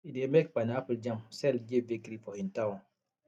e dey make pineapple jam sell give bakery for hin town